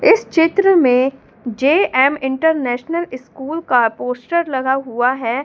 इस चित्र में जे_एम इंटरनेशनल स्कूल का पोस्टर लगा हुआ है।